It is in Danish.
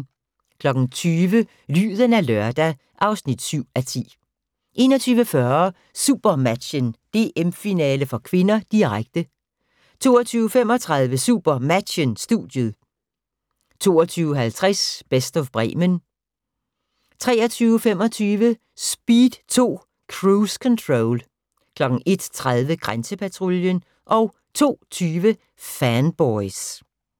20:00: Lyden af lørdag (7:10) 21:40: SuperMatchen: DM-finale (k), direkte 22:35: SuperMatchen: Studiet 22:50: Best of Bremen 23:25: Speed 2: Cruise Control 01:30: Grænsepatruljen 02:20: Fanboys